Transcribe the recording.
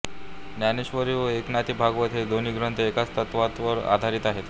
ज्ञानेश्वरी व एकनाथी भागवत हे दोन्ही ग्रंथ एकाच तत्वावर आधारित आहेत